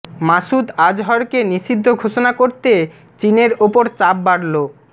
মাসুদ আজহরকে নিষিদ্ধ ঘোষণা করতে চিনের ওপর চাপ বাড়ল